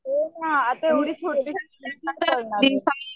हो ना आता एवढे छोटे